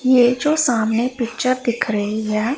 ये जो सामने पिक्चर दिख रही है।